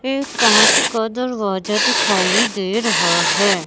एक कांच का दरवाजा दिखाई दे रहा है।